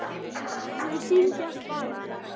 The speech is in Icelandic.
Þau syngja: SPARA!